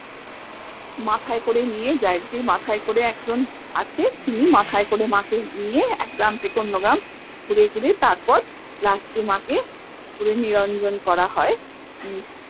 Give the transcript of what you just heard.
মাথায় করে নিয়ে যায় যে মাথায় করে এক জন আছে তিনি মাথায় করে মা কে নিয়ে এক গ্রাম থেকে অন্য গ্রাম ঘুরে ঘুরে তারপর last এ মা কে পুকুরে নিরঞ্জন করা হয়